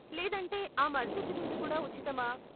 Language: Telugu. లేదంటే ఆ మరుసటి రోజు కూడా ఉచితమా?